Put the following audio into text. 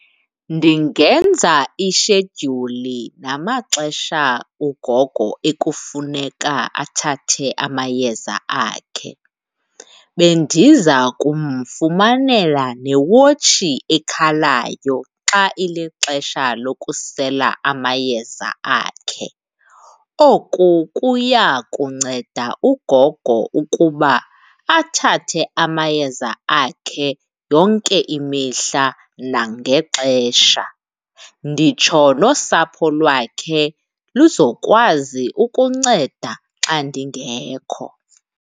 Ndingenza ishedyuli namaxesha ugogo ekufuneka athathe amayeza akhe. Bendiza kumfumanela newotshi ekhalayo xa ilixesha lokusela amayeza akhe. Oku kuya kunceda ugogo ukuba athathe amayeza akhe yonke imihla nangexesha. Nditsho nosapho lwakhe luzokwazi ukunceda nditsho xa ndingekho.